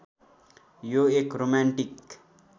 यो एक रोमान्टिक